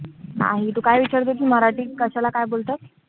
नाही, तू काय विचारत होतीस मराठीत कशाला काय बोलतात?